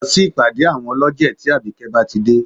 Lọ sí ìpàdé àwọn ọlọ́jẹ̀ tí àbíkẹ́ bá ti dé